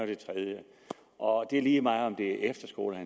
og det lige meget om det er efterskoler